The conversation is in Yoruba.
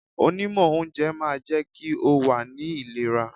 Onímọ̀ oúnjẹ máa jẹ́ kí o wà ní ìlera.